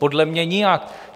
Podle mě nijak.